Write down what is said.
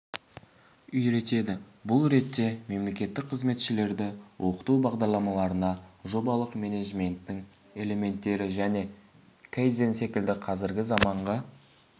үйретеді бұл ретте мемлекеттік қызметшілерді оқыту бағдарламаларына жобалық менеджменттің элементтері және кайдзен секілді қазіргі заманғы